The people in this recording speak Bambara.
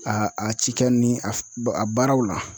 A a a cikɛ ni a baaraw la.